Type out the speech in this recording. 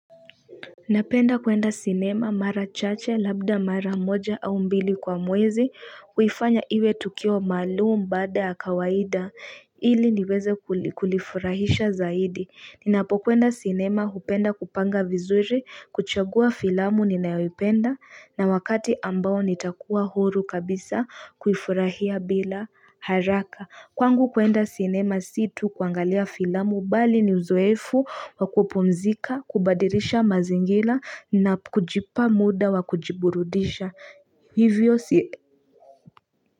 Napenda kwenda cinema mara chache labda mara moja au mbili kwa mwezi huifanya iwe tukio malum baada ya kawaida ili niweze kulifurahisha zaidi Ninapo kwenda cinema hupenda kupanga vizuri kuchagua filamu ninayoipenda na wakati ambao nitakuwa huru kabisa kuifurahia bila haraka kwangu kwenda cinema si tu kuangalia filamu bali ni uzoefu wakupumzika kubadirisha mazingira na kujipa muda wakujiburudisha hivyo siye.